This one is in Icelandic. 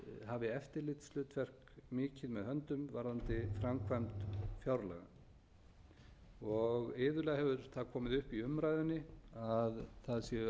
hafi eftirlitshlutverk mikið með höndum varðandi framkvæmd fjárlaga og iðulega hefur það komið upp í umræðunni að það séu ákveðin